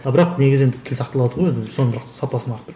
а бірақ негізі енді тіл сақталады ғой енді соның бірақ сапасын арттыру